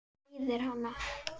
Meiðir hann.